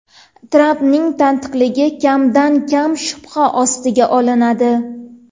Trampning tantiqligi kamdan-kam shubha ostiga olinadi.